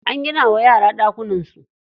An gina wa yara ɗakunan su.